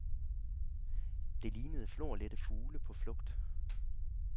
Det lignede florlette fugle på flugt.